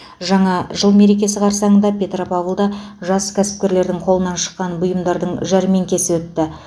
жаңа жыл мерекесі қарсаңында петропавлда жас кәсіпкерлердің қолынан шыққан бұйымдардың жәрмеңкесі өтті